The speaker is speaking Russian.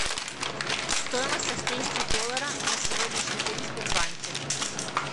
стоимость австрийских доллара на сегодняшний день в сбербанке